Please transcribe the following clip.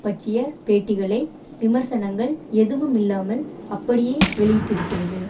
பற்றிய பேட்டிகளை விமர்சனங்கள் எதுவுமில்லாமல் அப்படியே வெளியிட்டிருக்கிறது